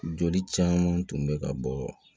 Joli caman tun bɛ ka bɔ